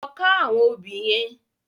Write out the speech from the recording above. Lò ká áwòn óbì yèn